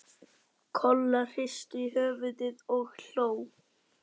Kolla hristi höfuðið og hló.